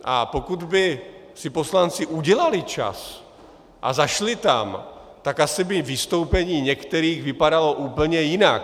A pokud by si poslanci udělali čas a zašli tam, tak asi by vystoupení některých vypadalo úplně jinak.